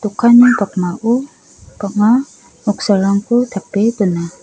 okanni pakmao bang·a noksarangko tape dona.